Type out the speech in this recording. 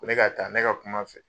Ko ne ka taa ne ka kum'a fɛ